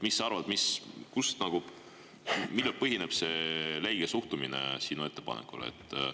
Mis sa arvad, millel põhineb see leige suhtumine sinu ettepanekusse?